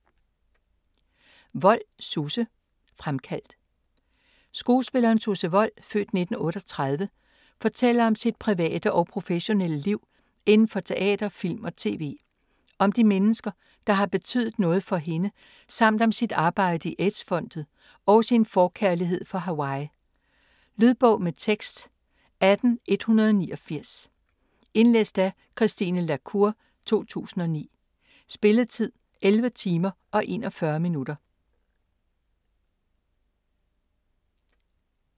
Wold, Susse: Fremkaldt Skuespilleren Susse Wold (f. 1938) fortæller om sit private og professionelle liv inden for teater, film og tv, om de mennesker der har betydet noget for hende, samt om sit arbejde i AIDS-Fondet og sin forkærlighed for Hawaii. Lydbog med tekst 18189 Indlæst af Christine la Cour, 2009. Spilletid: 11 timer, 41 minutter.